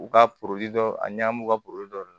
U ka dɔ a ɲamu ka boli dɔ de don